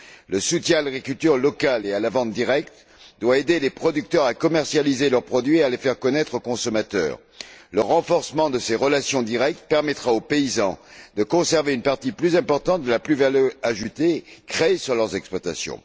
Le soutien à l'agriculture locale et à la vente directe doit aider les producteurs à commercialiser leurs produits et à les faire connaître aux consommateurs. Le renforcement de ces relations directes permettra aux paysans de conserver une partie plus importante de la valeur ajoutée créée sur leurs exploitations.